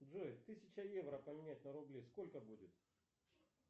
джой тысяча евро поменять на рубли сколько будет